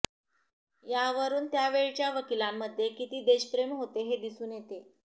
यावरून त्यावेळच्या वकिलांमध्ये किती देशप्रेम होते हे दिसून येते